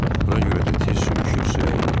Buna görə də tez sürüşüb suya endim.